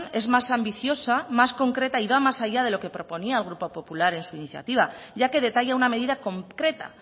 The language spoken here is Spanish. es más ambiciosa más concreta y va más allá de lo que proponía el grupo popular en su iniciativa ya que detalla una medida concreta